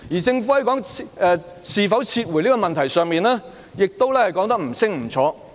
此外，在是否撤回修例這問題上，當局亦說得不清不楚。